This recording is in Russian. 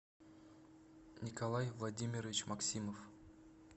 николай владимирович максимов